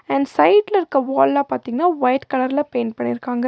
And சைட்ல இருக்க வால்லா பாத்தீங்கன்னா ஒயிட் கலர்ல பெயிண்ட் பண்ணிர்க்காங்க.